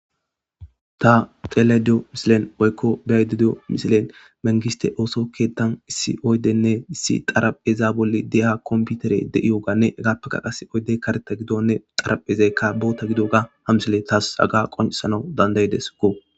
Ta telediyo misilen oykko biaydideyo misilen mengiste ooso keettan issi oydenne issi xaraheza bolli deeha komputere de'iyoganne egappeka qas oydey kareta gidonne xaraphezeykka boota gido ga hamsile taas aga qonsana dandaydesko